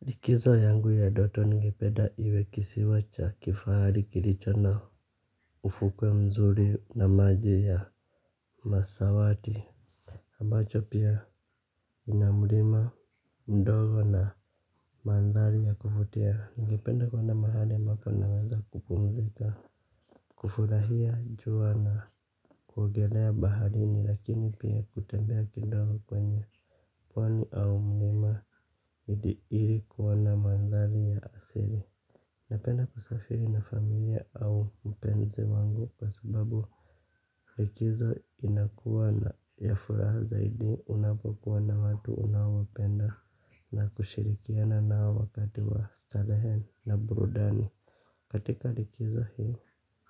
Likizo yangu ya ndoto ningependa iwe kisiwa cha kifahari kilicho na ufukwe mzuri na maji ya masawati. Ambacho pia ina mlima ndogo na mandhari ya kuvutia. Ningependa kuenda mahali ambapo naweza kupumzika. Kufurahia jua na kuogelea baharini lakini pia kutembea kidogo kwenye pwani au mlima ili kuona na mandhari ya asili. Napenda kusafiri na familia au mpenzi wangu kwa sababu likizo inakuwa na ya furaha zaidi unapokuwa na watu unaopenda na kushirikiana nao wakati wa starehe na burudani. Katika likizo hii,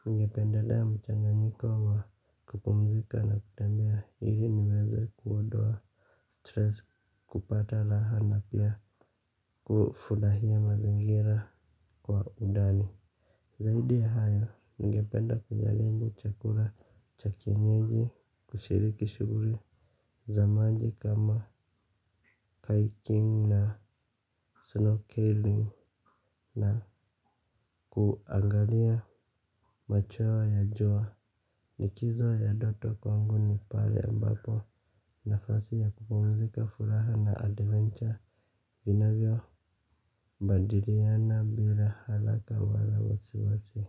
ningependelea mchanganyiko wa kupumzika na kutembia ili niweze kuondoa stress, kupata raha na pia kufurahia mazingira kwa undani. Zaidi ya hayo ningependa kujaribu chakula cha kienyeji, kushiriki shughuli za maji kama hiking na snow killing na kuangalia macheo ya jua. Likizo ya ndoto kwangu ni pale ambapo nafasi ya kupumzika, furaha na adventure vinavyobadiliana bila haraka wala wasi wasi.